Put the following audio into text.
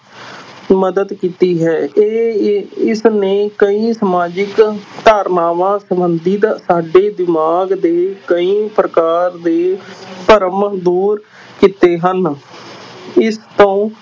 ਮਦਦ ਕੀਤੀ ਹੈ ਇਹ ਇਸਨੇ ਕਈ ਸਮਾਜਿਕ ਧਾਰਨਾਵਾਂ ਸੰਬੰਧਿਤ ਸਾਡੇ ਦਿਮਾਗ ਦੇ ਕਈ ਪ੍ਰਕਾਰ ਦੇ ਭਰਮ ਦੂਰ ਕੀਤੇ ਹਨ ਇਸ ਤੋਂ